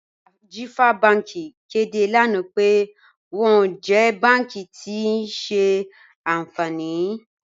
Ajífà Bànki kẹdé lánà pẹ̀ wọn jẹ́ bànki tí kíì ṣe ànfánì.